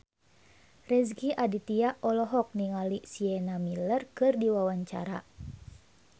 Rezky Aditya olohok ningali Sienna Miller keur diwawancara